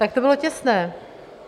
Tak to bylo těsné.